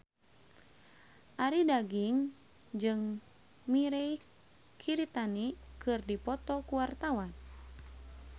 Arie Daginks jeung Mirei Kiritani keur dipoto ku wartawan